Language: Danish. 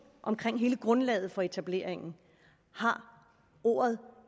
om hele grundlaget for etableringen har